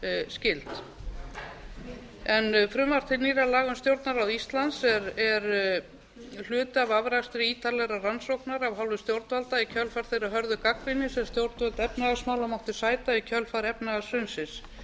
skyld frumvarp til nýrra laga um stjórnarráð íslands er hluti af afrakstri ítarlegrar rannsóknar af hálfu stjórnvalda í kjölfar þeirrar hörðu gagnrýni sem stjórnvöld efnahagsmála máttu sæta í kjölfar efnahagshrunsins